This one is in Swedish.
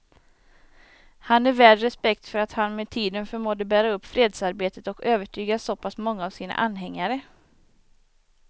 Han är värd respekt för att han med tiden förmådde bära upp fredsarbetet och övertyga så pass många av sina anhängare.